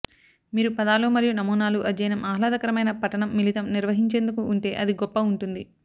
మీరు పదాలు మరియు నమూనాలు అధ్యయనం ఆహ్లాదకరమైన పఠనం మిళితం నిర్వహించేందుకు ఉంటే అది గొప్ప ఉంటుంది